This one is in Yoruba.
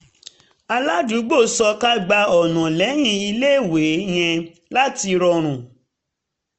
aládùúgbò sọ ká gba ọ̀nà lẹ́yìn iléèwé yẹn láti rọrùn